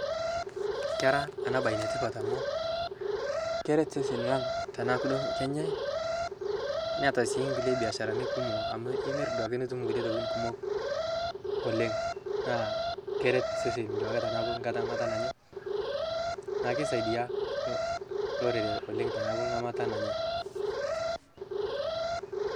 kera ana bai netipat amu keret seseni lang tanaaku duo kenyai niata sii nkulie biasharani kumo amu imir duake nitum nkulie tokitin kumok oleng naa keret seseni tanaaku duake nghamata nanyai naaku keisaidia lorere oleng tanaaku ngamata nanyai